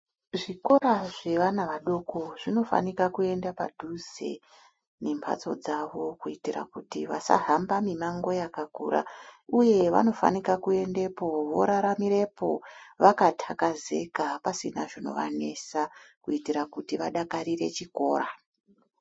Zvikora zvevana vadoko zvinofanika kuenda padhuze nemhatso dzavo kuitira kuti vasahamba mimango yakakura uye vanofanika kuendepo voraramirepo, vakatakazika pasina zvinovanesa kuitire kuti vadakarire chikora.